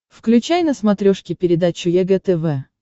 включай на смотрешке передачу егэ тв